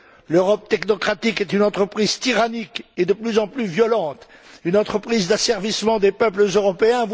L'Europe technocratique est une entreprise tyrannique et de plus en plus violente, une entreprise d'asservissement des peuples européens.